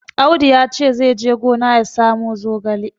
Audu ya ce zai je gina ya samo zogale.